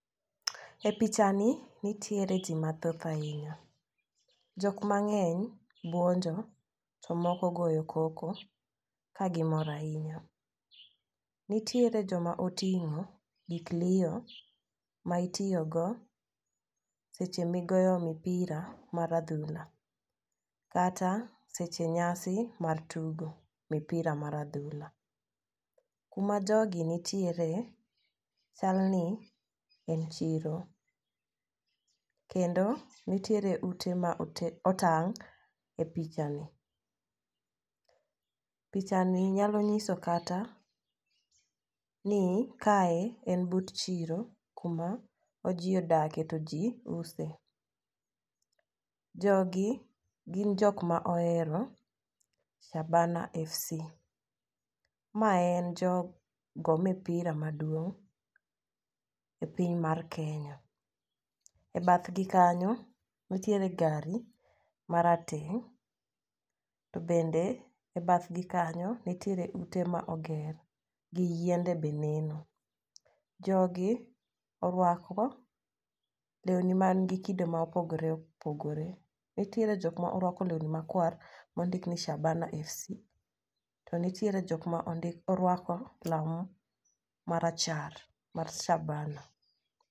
E picha ni nitiere jii mathoth ahinya, jok mang'eny buonjo to moko goyo koko ka gimor ahinya. Nitiere joma oting'o gik liyo ma itiyo go seche migoyo mipira mar adhula kata seche nyasi mar tugo mipira mar adhula. Kuma jogi nitiere chal ni en chiro kendo nitiere ute ma ote otang' e picha ni. Picha ni nyalo nyiso kata ni kae en but chiro kuma jii odake to jii use. Jogi gin jok ma ohero Shabana fc . Mae en jogo mipira maduong' e piny mae kenya. E bathgi kanyo ntire gari marateng' to bende e bath gi kanyo nitiere ute ma oger gi yiende be neno. Jogi orwako lewni man gi kido ma opogore opogore. Nitiere jok morwkao lewni makwar mondik ni Shabana fc to ntiere jok morwako law marachar mar shabana.